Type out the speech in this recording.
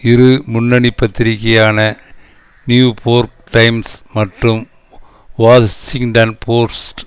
இரு முன்னணி பத்திரிகையான நியூபோர்க் டைம்ஸ் மற்றும் வாஷிங்டன் போஸ்ட்